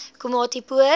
komatipoort